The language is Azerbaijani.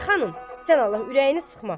Ay xanım, sən Allah, ürəyini sıxma.